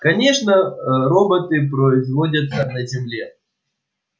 конечно роботы производятся на земле